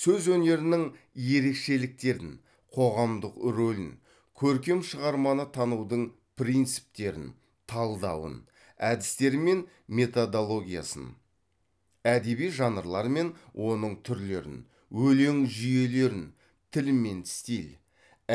сөз өнерінің ерекшеліктерін қоғамдық рөлін көркем шығарманы танудың принциптерін талдауын әдістері мен методологиясын әдеби жанрлар мен оның түрлерін өлең жүйелерін тіл мен стиль